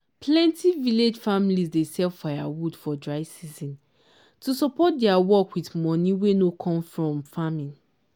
plenti village families dey sell firewood for dry season to support their farm work with money wey no come from farming.